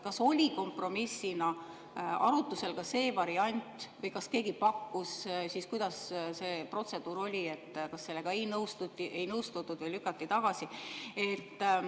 Kas oli kompromissina arutusel ka see variant või kas keegi pakkus seda, kuidas see protseduur siis oli, kas sellega ei nõustutud või lükati see tagasi?